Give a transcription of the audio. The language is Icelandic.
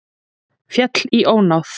Féll í ónáð